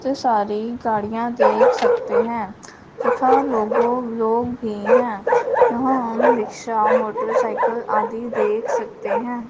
इतनी सारी गाड़ियां देख सकते हैं। तथा लोगों लोग भी हैं। यहां हम रिक्शा मोटरसाइकिल आदि देख सकते हैं।